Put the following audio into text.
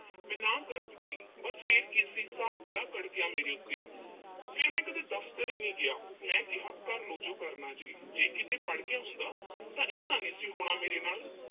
ਮੈਂ ਨਾਂਹ ਕਰ ਦਿੱਤੀ। ਬੱਸ ਫਿਰ ਕੀ ਸੀ। ਸਾਹਿਬ ਬੜਾ ਭੜਕਿਆ ਮੇਰੇ ਉੱਤੇ। ਫਿਰ ਮੈਂ ਕਦੇ ਦਫ਼ਤਰ ਹੀ ਨੀਂ ਗਿਆ। ਮੈਂ ਕਿਹਾ ਕਰਲੋ ਜੋ ਕਰਨਾ ਜੀ। ਜੇ ਕਿਤੇ ਪੜ੍ਹ ਗਿਆ ਹੁੰਦਾ ਤਾਂ ਇਹ ਤਾਂ ਨੀਂ ਸੀ ਹੋਣਾ, ਮੇਰੇ ਨਾਲ।